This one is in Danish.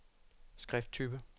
skrifttype